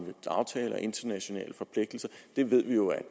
internationale forpligtelser det ved vi jo er